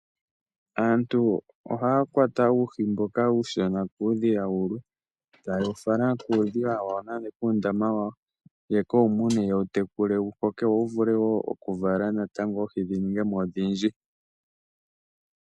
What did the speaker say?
Aantu ohaya kwata uuhi mboka uushona kuudhiya wulwe, e ta ye wu fala kuundama nenge kuudhiya wawo ye ke u mune, ye wu tekule wu koke wo wu vule wo okuvala oohi dhi ninge mo odhindji.